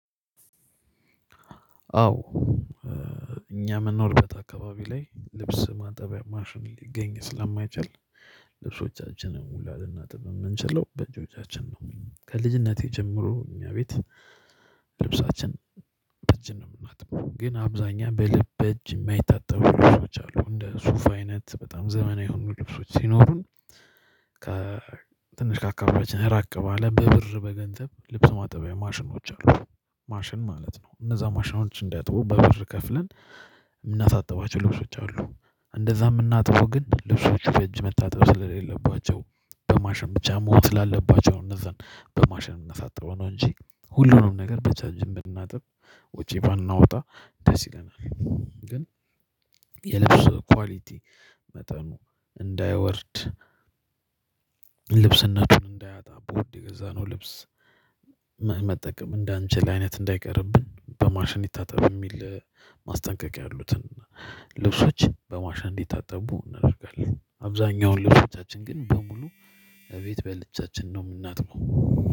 አዎ እኛ ምንንኖርበት አካባቢ ላይ ልብስ ማጠቢያ ማሽን ሊገኝ ስለማይችል ልብሶቻችንን ሙላ ልናጥብ የምንችለው በእጆቻችን ነው። ከልጅነቴ ጀምሮ እኛ ቤት ልብሳችን እጅን ነው የምናጥበው ግን አብዛኛው እጅ የማይታጠቡ ልብሶች አሉ እንደ ሱፍ አይነት በጣም ዘመናዊ የሆኑ ልብሶች ሲኖሩን። ከ ትንሽ ካካበችን ራቅ ባለ በብር በገንዘብ ልብስ ማጠቢያ ማሽኖች አሉ ማሽን ማለት ነው እነዛ ማሽን እንዲያጥቡ በብር ከፍለን የምናሳጥባቸው ልብሶች አሉ። እንደዛ የምናጥቡ ግን ልብሱ በእጅ መታጠብ ስለሌለባቸው በማሽን ብቻ መሆን ስላለባቸው እነዛን በማሽን እምናሳጥበው ነው እንጂ ሁሉንም ነገር በእጃችን ብናጥብ ውጪ ባናወጣ ደስ ይለናል። ግን የልብስ ኳሊቲ መጠኑ እንዳይወርድ እንዳያጣ በውድ የገዛነው ልብስ መጠቀም እንዳንችል አይነት እንዳይቀርብን በማሽን ይታጠብ የሚል ማስጠንቀቂያ ያሉትን ልብሶችን በማሽን እንዲታጠቡ እናደርጋለን። አብዛኛውን ልብሶቻን ግን በሙሉ እቤት በእጆቻችን ነው የምናጥመው።